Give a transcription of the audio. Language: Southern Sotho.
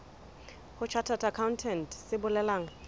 ho chartered accountant se bolelang